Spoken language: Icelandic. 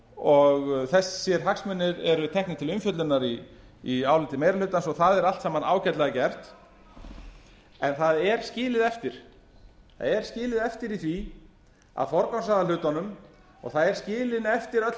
og þessir hagsmunir eru teknir til umfjöllunar í áliti meiri hlutans og það er allt saman ágætlega gert en það er skilið eftir í því að forgangsraða hlutunum og það er skilin eftir öll